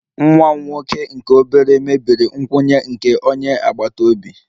Nwa m nwoke nke obere mebiri nkwụnye nke onye agbata obi